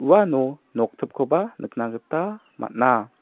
uano noktipkoba nikna gita man·a.